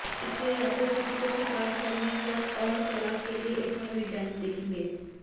इसलिए या तो स्थिति को स्वीकार करने या और तलाक के लिए एक मनोवैज्ञानिक देखेंगे